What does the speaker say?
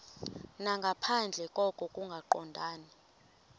nangaphandle koko kungaqondani